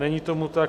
Není tomu tak.